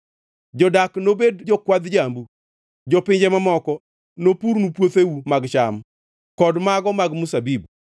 Jodak nobed jokwadh jambu, jopinje mamoko nopurnu puotheu mag cham, kod mago mag mzabibu.